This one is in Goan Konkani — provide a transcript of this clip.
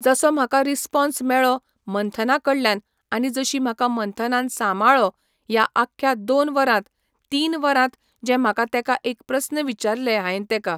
जसो म्हाका रिस्पाॅन्स मेळ्ळो मंथना कडल्यान आनी जशी म्हाका मंथनान सांमाळ्ळो ह्या आख्ख्या दोन वरांत तीन वरांत जें म्हाका तेका एक प्रस्न विचारले हांयेन तेका